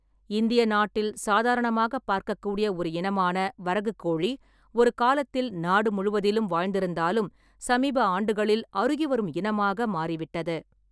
இந்திய நாட்டில் சாதாரணமாகப் பார்க்கக்கூடிய ஒரு இனமான வரகுக் கோழி ஒரு காலத்தில் நாடு முழுவதிலும் வாழ்ந்திருந்தாலும் சமீப ஆண்டுகளில் அருகிவரும் இனமாக மாறிவிட்டது.